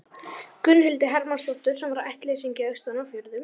Gunnhildi Hermannsdóttur, sem var ættleysingi austan af fjörðum.